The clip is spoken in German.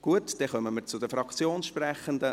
Gut, dann kommen wir zu den Fraktionssprechenden;